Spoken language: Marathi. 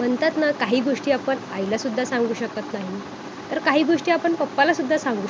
आणि जस की बगायला गेल तर भावार्थिक ध्यान हे एक विश्वशांती सुद्धा प्रस्थापित करू शकते.जस की विश्वामध्ये जर शांती